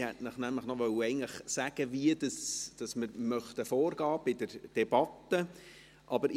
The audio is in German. Ich wollte Ihnen nämlich eigentlich noch sagen, wie wir bei der Debatte vorgehen möchten.